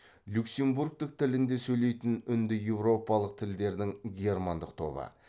люксембургтік тілінде сөйлейтін үндіеуропалық тілдердің германдық тобы